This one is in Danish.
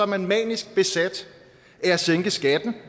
man manisk besat af at sænke skatten